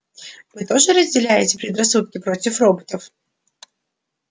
вы тоже разделяете предрассудки против роботов